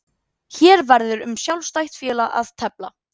Hér verður um sjálfstætt félag að tefla.